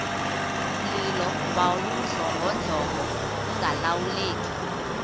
mlilo wawudlongodlongo ungalawuleki